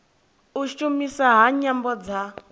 u shumiswa ha nyambo dza